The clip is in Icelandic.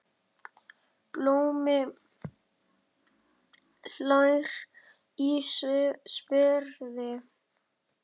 Blómi hlær í sverði.